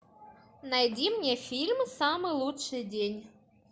найди мне фильм самый лучший день